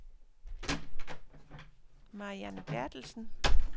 Marianne Berthelsen